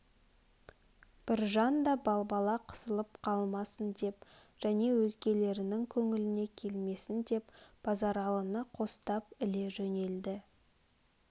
біржан да балбала қысылып қалмасын деп және өзгелернің көңіліне келмесін деп базаралыны қостап іле жөнелді